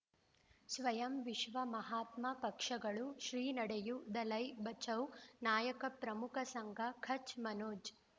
ಸ್ವಯಂ ವಿಶ್ವ ಮಹಾತ್ಮ ಪಕ್ಷಗಳು ಶ್ರೀ ನಡೆಯೂ ದಲೈ ಬಚೌ ನಾಯಕ ಪ್ರಮುಖ ಸಂಘ ಕಚ್ ಮನೋಜ್